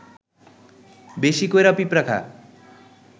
বেশি কইরা পিঁপড়া খা